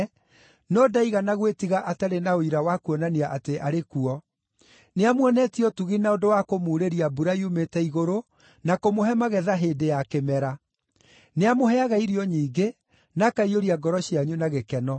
no ndaigana gwĩtiga atarĩ na ũira wa kuonania atĩ arĩ kuo: nĩamuonetie ũtugi na ũndũ wa kũmuurĩria mbura yumĩte igũrũ na kũmũhe magetha hĩndĩ ya kĩmera; nĩamũheaga irio nyingĩ na akaiyũria ngoro cianyu na gĩkeno.”